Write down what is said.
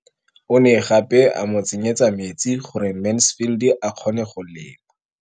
O ne gape a mo tsenyetsa metsi gore Mansfield a kgone go lema.